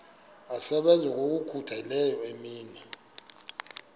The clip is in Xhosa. asebenza ngokokhutheleyo imini